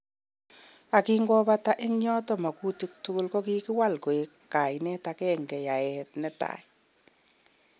Ak kangobata eng yoton mogutik tugul kokiwalak koik kainet agenge:yaet netai.